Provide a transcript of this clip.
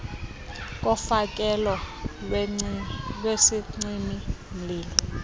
kofakelo lwesicimi mlilo